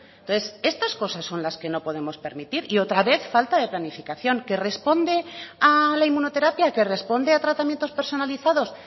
entonces estas cosas son las que no podemos permitir y otra vez falta de planificación que responde a la inmunoterapia que responde a tratamientos personalizados